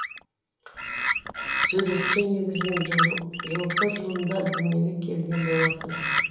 суретші негізінен жылқы жылында дүниеге келген болатын